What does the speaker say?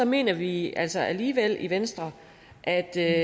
mener vi altså alligevel i venstre at det